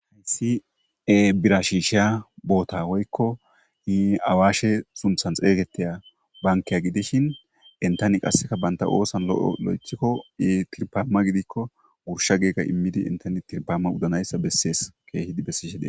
Haysi bira shishiya boota woykon awashe sunthan xeygetiya banke gidishin entan qase banta oosan loythiko woyko tirpama gidikon gursha giidi imidi intte tirpama gidanaysa kehippe besishe dees.